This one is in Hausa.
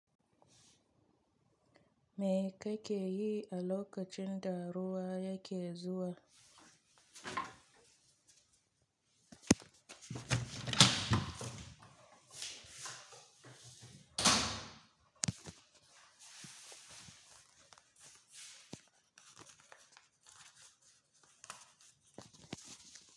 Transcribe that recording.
Me ka ke yi a lokacin da ruwa yake zuwa?